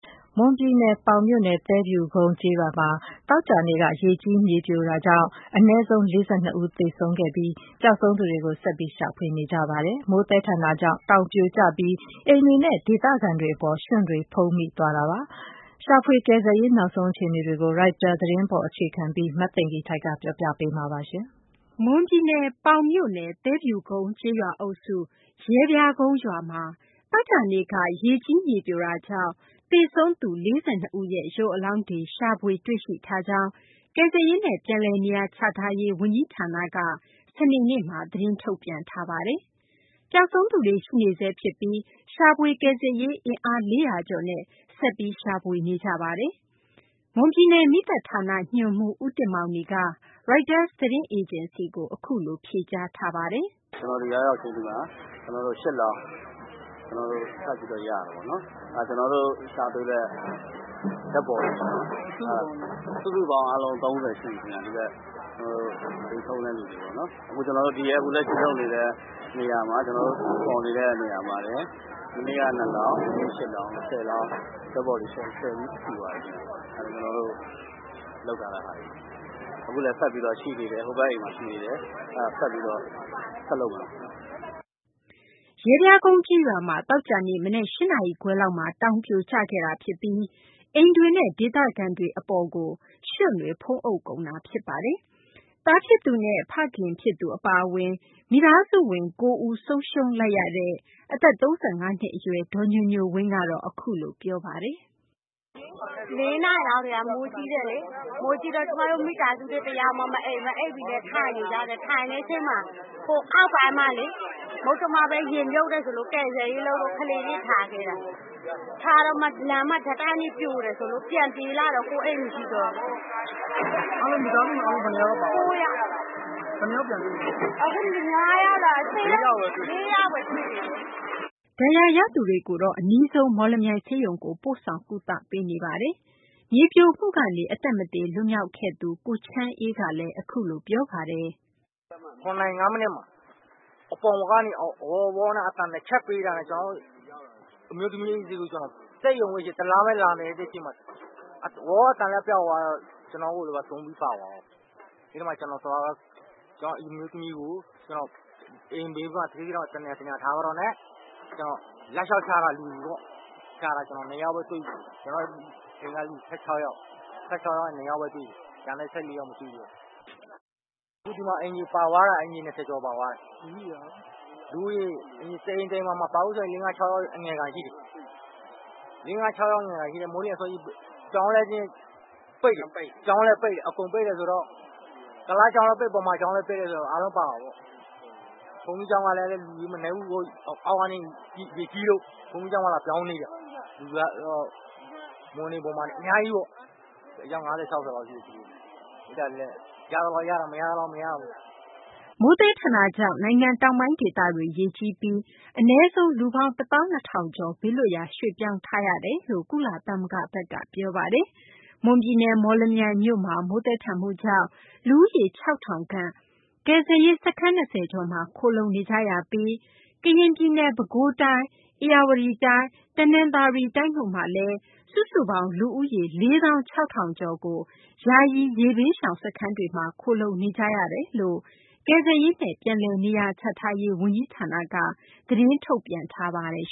မွန်ပြည်နယ် ပေါင်မြို့နယ် သဲဖြူကုန်း ကျေးရွာမှာ သောကြာနေ့က ရေကြီး မြေပြိုမှုကြောင့် အနည်းဆုံး ၄၂ ဦး သေဆုံးခဲ့ပြီး ပျောက်ဆုံးသူတွေကို ဆက်လက် ရှာဖွေနေကြပါတယ်။ မိုးသည်းထန်တာကြောင့် တောင်ပြိုကျပြီး အိမ်တွေနဲ့ ဒေသခံတွေ အပေါ် ရွှံ့တွေဖုံးမိသွားတာ ဖြစ်ပါတယ်။ ရှာဖွေ ကယ်ဆယ်ရေး နောက်ဆုံး အခြေအနေတွေကို Reuters သတင်းပေါ် အခြေခံပြီး မသိင်္ဂ ီထိုက် ပြောပြပေးမှာပါ။ မွန်ပြည်နယ် ပေါင်မြို့နယ် သဲဖြူကုန်း ကျေးရွာအုပ်စု ရဲပြားကုန်းရွာမှာ သောကြာနေ့က ရေကြီး မြေပြိုမှုကြောင့် သေဆုံးသူ ၄၂ ဦးရဲ့ ရုပ်အလောင်းတွေ ရှာဖွေတွေ့ရှိထားကြောင်း ကယ်ဆယ်ရေးနဲ့ ပြန်လည်နေရာချထားရေး ဝန်ကြီးဌာနက သတင်းထုတ်ပြန်ထားပါတယ်။ ပျောက်ဆုံးသူတွေ ရှိနေဆဲ ဖြစ်ပြီး ရှာဖွေကယ်ဆယ်ရေး အင်အား ၄၀၀ ကျော်နဲ့ ဆက်ပြီး ရှာဖွေနေကြပါတယ်။ မွန်ပြည်နယ် မီးသတ်ဌာန ညွှန်မှူး ဦးတင်မောင်နီက ရိုက်တာသတင်းအေဂျင်စီကို အစောပိုင်းတုန်းက အခုလို ပြောပါတယ်။ “ကျနော်ဒီရောက်ရောက်ချင်း ဒီမှာ ၈ လောင်း ထပ်ပြီးရပါတယ်။ ကျနော်တို့ ရှာတွေ့တဲ့ သေဆုံးသွားတဲ့သူ စုစုပေါင်း ၃၀ လောက် ရှိပါမယ်။ အခုလက်ရှိဖော်နေတဲ့နေရာမှာပဲ မနေ့က ၂ လောင်း၊ ဒီနေ့ ၈ လောင်း၊ စုစုပေါင်း ၁၀ လောင်း၊ dead body ၁၀ ခု ရှိသွားပါပြီ။ အခုလည်း ဆက်ပြီး ရှာဖွေနေပါတယ်။” ရဲပြားကုန်း ကျေးရွာမှာ သောကြာနေ့ မနက် ၈ နာရီခွဲလောက်မှာ တောင်ပြိုကျခဲ့တာ ဖြစ်ပြီး အိမ်တွေနဲ့ ဒေသခံတွေ အပေါ်ကို ရွှံ့တွေ ဖုံးအုပ်ကုန်တာ ဖြစ်ပါတယ်။ သားဖြစ်သူနဲ့ ဖခင်ဖြစ်သူ အပါအဝင် မိသားစုဝင် ၉ ဦး ဆုံးရှုံးလိုက်ရတဲ့ အသက် ၃၅ နှစ် အရွယ် ဒေါ်ညိုညိုဝင်းကတော့ အခုလို ပြောပါတယ်။ “၄ နာရီလောက်ကတည်းက မိုးကြီးတယ်လေ။ မိုးကြီးတော့ ကျမတို့မိသားစု တယောက်မှ မအိပ်ဘူး။ မအိပ်ဘဲနဲ့ ထနေကြတယ်၊ ထိုင်နေတဲ့အချိန်မှာ ဟိုအောက်ပိုင်းမှာလေ မုတ္တမဖက် ရေမြုပ်တယ်ဆိုလို့ ကယ်ဆယ်ရေးလုပ်လို့ ကလေးတွေ ထားခဲ့တာ။ ထားတော့မှ လမ်းမှာ ဓာတ်တိုင်တွေ ပြိုတယ်ဆိုလို့ ပြေးလာတော့ ကိုယ့်အိမ် မရှိတော့ဘူး။ မိသားစု ၉ ယောက်ပျောက်သွားတာ အခု ၄ ယောက်ရဲ့ အလောင်းပဲ တွေ့သေးတယ်။ ” ဒဏ်ရာရသူတွေကိုတော့ အနီးဆုံး မော်လမြိုင် ဆေးရုံကို ပို့ဆောင် ကုသပေးနေပါတယ်။ မြေပြိုမှုကနေ အသက်မသေ လွတ်မြောက်ခဲ့သူ ကိုချမ်းအေးကတော့ အခုလို ပြောပါတယ်။ “၇ နာရီ ၅ မိနစ်မှာ အပေါ်ကနေအောက် အသံ ၂ ချက်ပေးတာနဲ့ကျနော်တို့ အမျိုးသမီးနဲ့ပြေးသွားပေမယ့် ဝေါ အသံလည်း ပျောက်သွားရော ကျနော်တို့ မိသားစုထဲက သူတွေ ပါသွားရော။ ကျနော့် အမျိုးသမီးကို ကျနော့် အိမ်ဘေးက တနေရာမှာ ထားခဲ့ပြီးတော့ ကျနော် လူတွေကို လိုက်လျှောက်ရှာတာ ကျနော် ၂ ယောက်ပဲ တွေ့တယ်။ အိမ်ကလူ ၁၆ ယောက် ရှိတာ ၂ ယောက်ပဲ တွေ့တယ်။ ကျန်တဲ့ ၁၄ ယောက် မတွေ့တော့ဘူး။ အခု အိမ်တွေ ၂၀ ကျော် ပါသွားတယ်။ တအိမ်တအိမ်မှာ လူ ၆ ယောက်လောက် အနည်းဆုံး ရှိတယ်။ ကျောင်းလည်း ပိတ်တယ်။ မိုးလင်းလင်းချင်းလည်း ဖြစ်တယ်။ ကုလားကျောင်းလည်း ပိတ်၊ ဗမာကျောင်းလည်း ပိတ်၊ အကုန် ပိတ်တယ်ဆိုတော့ အားလုံးပါတာပေါ့။ ဘုန်းကြီးကျောင်းက လူတွေလည်း မနည်းဘူး။ အောက်က ရေကြီးလို့ ဘုန်းကြီးကျောင်းမှာ လာပြောင်းနေတာ။ မွန်တွေ ဗမာတွေ အများကြီးပေါ့။ အယောက် ၅၀ - ၆၀ လောက်ရှိတယ်။ ရသလောက် ရပေမယ့် မရသလောက်လည်း မရဘူး။ ” မိုးသည်းထန်တာကြောင့် နိုင်ငံ တောင်ပိုင်း ဒေသတွေ ရေကြီးပြီး အနည်းဆုံး လူပေါင်း ၁ သောင်း ၂ ထောင်ကျော် ဘေးလွတ်ရာ ရွှေ့ပြောင်းထားရကြောင်း ကုလသမဂ္ဂက ပြောဆိုထားပါတယ်။ မွန်ပြည်နယ် မော်လမြိုင်မြို့မှာ မိုးသည်းထန်မှုကြောင့် လူဦးရေ ၆ ထောင်ခန့် ကယ်ဆယ်ရေး စခန်း ၂၀ ကျော်မှာ ခိုလှုံနေကြရပြီး ကရင်ပြည်နယ်၊ ပဲခူးတိုင်း၊ ဧရာဝတီတိုင်းနဲ့ တနသာၤရီတိုင်းတို့မှာလည်း လူဦးရေ ၄၆၀၀၀ ယာယီရေဘေးရှောင် စခန်းတွေမှာ ခိုလှုံနေကြရတယ်လို့လည်း ကယ်ဆယ်ရေးနဲ့ ပြန်လည်နေရာချထားရေး ဝန်ကြီးဌာနက သတင်းထုတ်ပြန်ထားပါတယ်